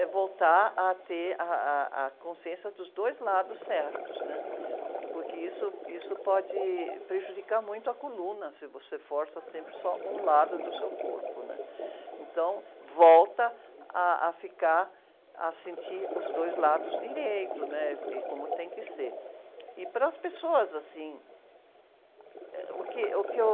Eh, voltar a ter ah, ah, a consciência dos dois lados certos né? Porque isso, isso pode prejudicar muito a coluna se você força sempre só um lado do seu corpo, né? Então volta ah, a ficar, a sentir os dois lados direito, né? E como tem que ser, e para as pessoas, assim, eh, o que, o que eu...